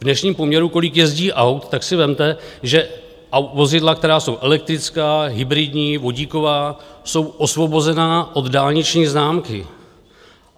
V dnešním poměru, kolik jezdí aut, tak si vezměte, že vozidla, která jsou elektrická, hybridní, vodíková jsou osvobozena od dálniční známky.